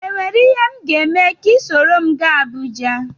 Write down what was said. Enwere ihe m ga-eme ka ị soro m jee Abuja?